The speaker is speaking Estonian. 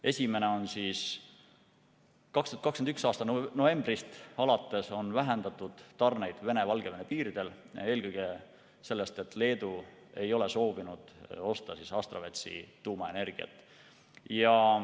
Esimene on see, et 2021. aasta novembrist alates on vähendatud tarneid Venemaa ja Valgevene piiridel, eelkõige seetõttu, et Leedu ei ole soovinud osta Astravetsi tuumaenergiat.